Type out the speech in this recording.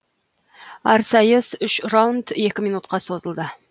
әр сайыс үш раунд екі минутқа созылды